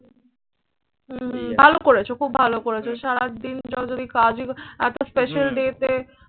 হম হম ভালো করেছো, খুব ভালো করেছো। সারাদিন জোরাজুরি কাজই একটা special day তে